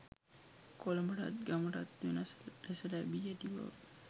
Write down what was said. කොළඹටත් ගමටත් වෙනස් ලෙස ලැබී ඇතිබව